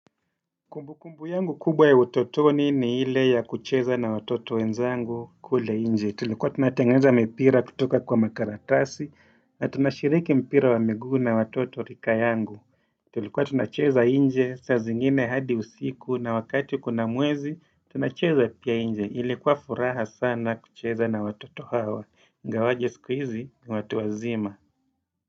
Kumbukumbu yangu kubwa ya utotoni ni ile ya kucheza na watoto wenzangu kule nje tulikuwa tunatengeneza mipira kutoka kwa makaratasi na tunashiriki mpira wa miguu na watoto rika yangu Tulikuwa tunacheza nje saa zingine hadi usiku na wakati kuna mwezi tunacheza pia nje ilikuwa furaha sana kucheza na watoto hawa ingawaje siku hizi ni watu wazima.